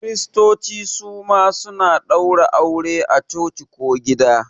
Kiristoci suma suna ɗaura aure a coci ko gida